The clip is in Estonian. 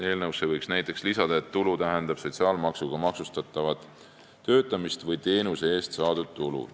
Eelnõusse võiks näiteks lisada, et tulu tähendab sotsiaalmaksuga maksustatavat töötamist või teenuse eest saadud tulu.